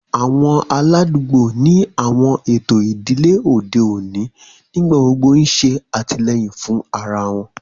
Awọn aladugbo ni awọn eto idile ode oni nigbagbogbo n ṣe atilẹyin fun ara wọn